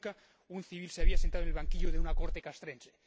Nunca un civil se había sentado en el banquillo de una corte castrense.